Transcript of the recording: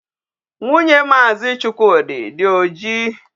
Nwunye Maazi Chukwudi dị oji.